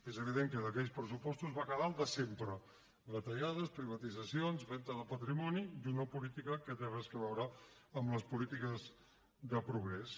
és evident que d’aquells pressupostos va quedar el de sempre retallades privatitzacions venda de patrimoni i una política que no té res a veure amb les polítiques de progrés